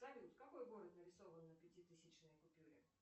салют какой город нарисован на пяти тысячной купюре